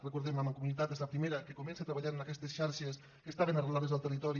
recordemho la mancomunitat és la primera que comença a treballar en aquestes xarxes que estaven arrelades al territori